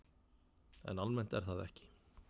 En almennt er það ekki.